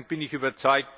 Abschließend bin ich überzeugt,